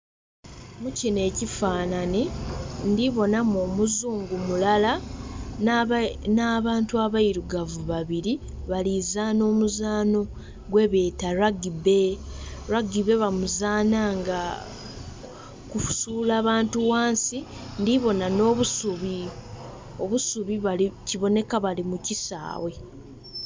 Mukino ekifananhi ndhi kubona mu omuzungu mulala nha bantu abeirugavu babiri balozanha omuzanho gwe beta ragibe. Ragibe bamizanha nga kusula bantu ghansi ndhibonha nho obusubi, obusubi kibonheka bali mu kisaghe.